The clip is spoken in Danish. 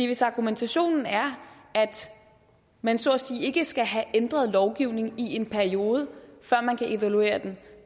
hvis argumentationen er at man så at sige ikke skal have ændret lovgivning i en periode før man kan evaluere den